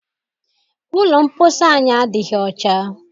Ụlọ mposi anyị adịghị ọcha.